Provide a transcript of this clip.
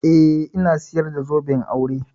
Eh, ina sayar da zoben aure.